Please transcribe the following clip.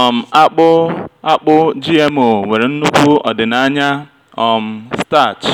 um akpu akpu gmo nwere nnukwu ọdịnaya um starch